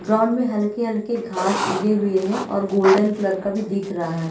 ground में हल्के-हल्के घास उगे हुए हैं और गोल्डन कलर का भी दिख रहा--